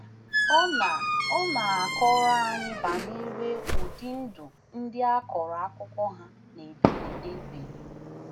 Ọ na Ọ na - akọrọ anyị banyere udi ndụ ndị a kọrọ akụkọ ha na ederede biri